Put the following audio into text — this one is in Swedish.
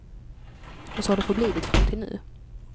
Och så har det förblivit, fram till nu.